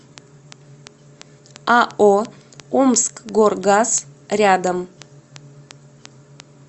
ао омскгоргаз рядом